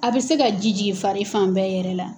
A bɛ se ka ji jigin fari fan bɛɛ yɛrɛ la.